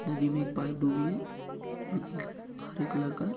नदी मे एक पाइप डूबी है जो की हरे कलर का है।